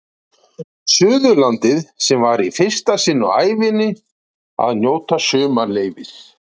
Suðurlandi sem var í fyrsta sinn á ævinni að njóta sumarleyfis.